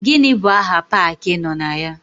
Gịnị bụ aha paakị ị nọ na ya?